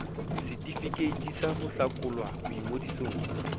setefikeiti sa ho hlakolwa boingodisong